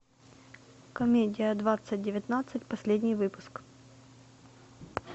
комедия двадцать девятнадцать последний выпуск